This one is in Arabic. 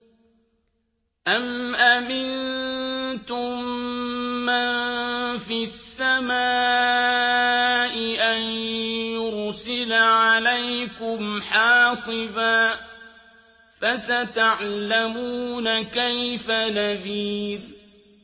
أَمْ أَمِنتُم مَّن فِي السَّمَاءِ أَن يُرْسِلَ عَلَيْكُمْ حَاصِبًا ۖ فَسَتَعْلَمُونَ كَيْفَ نَذِيرِ